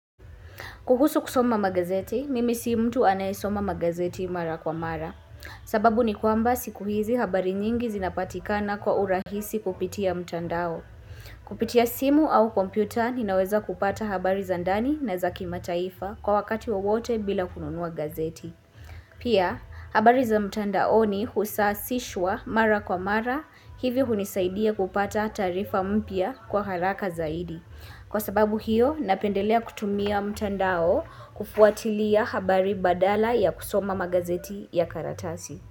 Kuhusu kusoma magazeti, mimi si mtu anayesoma magazeti mara kwa mara. Sababu ni kwamba siku hizi habari nyingi zinapatikana kwa urahisi kupitia mtandao. Kupitia simu au kompyuta ninaweza kupata habari za ndani na za kimataifa kwa wakati wowote bila kununua gazeti. Pia, habari za mtandaoni husasishwa mara kwa mara hivi hunisaidia kupata taarifa mpya kwa haraka zaidi. Kwa sababu hiyo, napendelea kutumia mtandao kufuatilia habari badala ya kusoma magazeti ya karatasi.